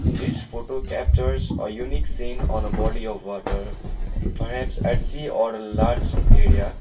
this photo captures a unique scene on a body of water perhaps at sea or large area.